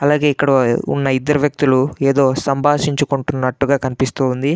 అలాగే ఇక్కడ ఉన్న ఇద్దరు వ్యక్తులు ఏదో సంభాషించుకుంటున్నట్టు కనిపిస్తూ ఉంది.